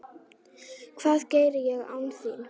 Hvað geri ég án þín?